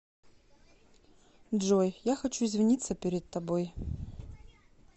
джой я хочу извиниться перед тобой